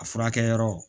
A furakɛyɔrɔ